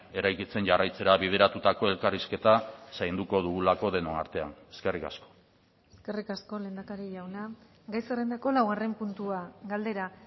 eraikitzen jarraitzera bideratutako elkarrizketa zainduko dugulako denon artean eskerrik asko eskerrik asko lehendakari jauna gai zerrendako laugarren puntua galdera